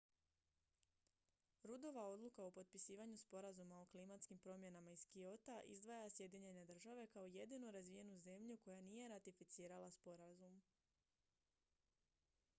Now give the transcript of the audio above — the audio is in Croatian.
ruddova odluka o potpisivanju sporazuma o klimatskim promjenama iz kyota izdvaja sjedinjene države kao jedinu razvijenu zemlju koja nije ratificirala sporazum